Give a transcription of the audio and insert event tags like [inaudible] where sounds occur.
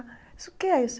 [unintelligible] o que é isso?